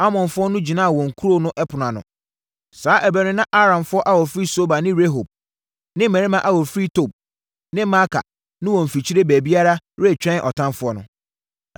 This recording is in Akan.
Amonfoɔ no gyinaa wɔn kuro no ɛpono ano. Saa ɛberɛ no na Aramfoɔ a wɔfiri Soba ne Rehob ne mmarima a wɔfiri Tob ne Maaka no wɔ mfikyire baabiara retwɛn ɔtamfoɔ no.